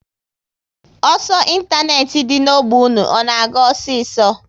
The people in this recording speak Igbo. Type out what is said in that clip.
Ọsọ ịntanetị dị n'ogbe unu, ọ na-aga osiso?